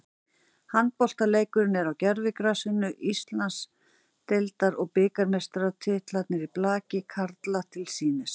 Handboltaleikur á gervigrasinu, Íslands- deildar og bikarmeistaratitlarnir í blaki karla til sýnis.